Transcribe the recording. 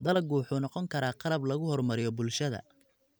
Dalaggu wuxuu noqon karaa qalab lagu horumariyo bulshada.